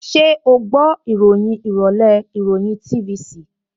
Ṣẹ́ o gbọ́ ìròyìn ìrọ̀lẹ́ ìròyìn TVC?